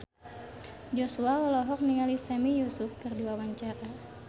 Joshua olohok ningali Sami Yusuf keur diwawancara